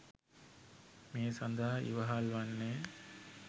මේ සඳහා ඉවහල් වන්නේ